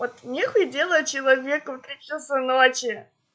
вот нехуй делать человеку в три часа ночи